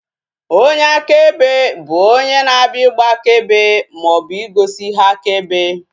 Onyeakebe bụ onye na-abịa ịgba akaebe maọbụ igosi ihe akaebe